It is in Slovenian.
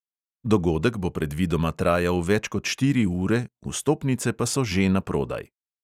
Dogodek bo predvidoma trajal več kot štiri ure, vstopnice pa so že na prodaj.